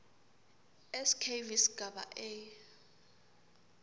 skv sigaba a